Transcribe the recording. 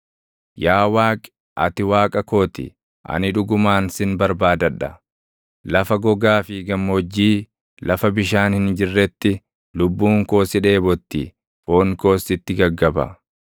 Yaa Waaqi, ati Waaqa koo ti; ani dhugumaan sin barbaadadha; lafa gogaa fi gammoojjii, lafa bishaan hin jirretti, lubbuun koo si dheebotti; foon koos sitti gaggaba.